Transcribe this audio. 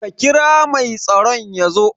Ka kira mai tsaron yazo